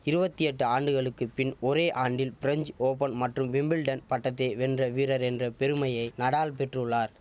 இருவத்தி எட்டு ஆண்டுகளுக்கு பின் ஒரே ஆண்டில் பிரெஞ்ச் ஓபன் மற்றும் விம்பிள்டன் பட்டத்தை வென்ற வீரர் என்ற பெருமையை நடால் பெற்றுள்ளார்